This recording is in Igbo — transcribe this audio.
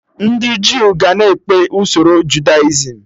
Ndị Jew ga na-ekpe usoro Judaism